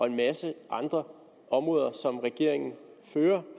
en masse andre områder som regeringen fører